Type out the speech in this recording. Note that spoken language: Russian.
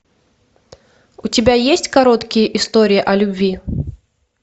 у тебя есть короткие истории о любви